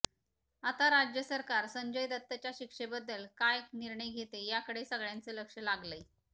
आता राज्य सरकार संजय दत्तच्या शिक्षेबद्दल काय निर्णय घेते याकडे सगळ्यांचं लक्ष लागलंय